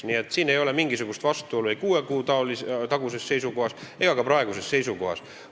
Nii et siin ei ole mingisugust vastuolu kuue kuu taguse ja praeguse seisukoha vahel.